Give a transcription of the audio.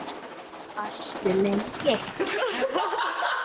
Varstu lengi?